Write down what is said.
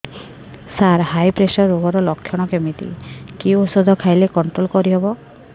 ସାର high pressure ରୋଗର ଲଖଣ କେମିତି କି ଓଷଧ ଖାଇଲେ କଂଟ୍ରୋଲ କରିହେବ